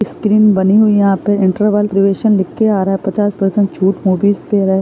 screen बनी हुई है यहाँ पर इंटरवल प्रोबेशन लिखकर आ रहा है पचास परसेंट छूट होगी--